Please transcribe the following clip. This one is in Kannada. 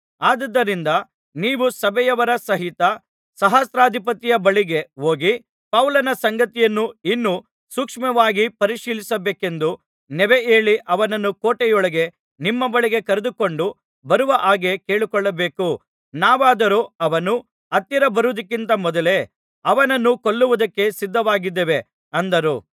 ಆದುದರಿಂದ ನೀವು ಸಭೆಯವರ ಸಹಿತ ಸಹಸ್ರಾಧಿಪತಿಯ ಬಳಿಗೆ ಹೋಗಿ ಪೌಲನ ಸಂಗತಿಯನ್ನು ಇನ್ನೂ ಸೂಕ್ಷ್ಮವಾಗಿ ಪರಿಶೀಲಿಸಬೇಕೆಂದು ನೆವಹೇಳಿ ಅವನನ್ನು ಕೋಟೆಯೊಳಗೆ ನಿಮ್ಮ ಬಳಿಗೆ ಕರೆದುಕೊಂಡು ಬರುವ ಹಾಗೆ ಕೇಳಿಕೊಳ್ಳಬೇಕು ನಾವಾದರೋ ಅವನು ಹತ್ತಿರ ಬರುವುದಕ್ಕಿಂತ ಮೊದಲೇ ಅವನನ್ನು ಕೊಲ್ಲುವುದಕ್ಕೆ ಸಿದ್ಧವಾಗಿದ್ದೇವೆ ಅಂದರು